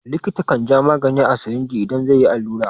Likita kan ja magani a sirinji idan zai a yi allura.